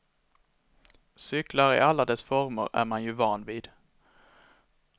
Cyklar i alla dess former är man ju vana vid.